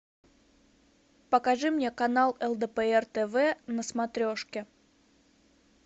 покажи мне канал лдпр тв на смотрешке